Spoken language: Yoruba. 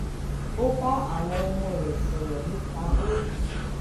ó bá àwọn ọmọ rè sòrò nípa bó